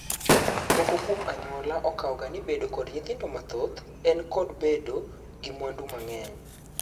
Moko kwuo anyuola okawgani bedo kod nyithindo mathoth en kod bedo gi mwandu mang'eny